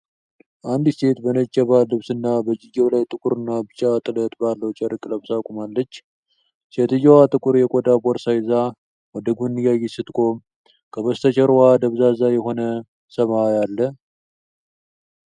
አንዲት ሴት በነጭ የባህል ልብስና በእጅጌው ላይ ጥቁርና ቢጫ ጥለት ባለው ጨርቅ ለብሳ ቆማለች። ሴትየዋ ጥቁር የቆዳ ቦርሳ ይዛ ወደ ጎን እያየች ስትቆም፣ ከበስተጀርባዋ ደብዛዛ የሆነ ሰማይ አለ።